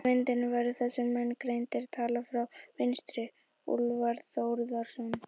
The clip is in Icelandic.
Á myndinni verða þessir menn greindir, taldir frá vinstri: Úlfar Þórðarson